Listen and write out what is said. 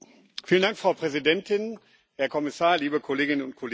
Frau Präsidentin, Herr Kommissar, liebe Kolleginnen und Kollegen!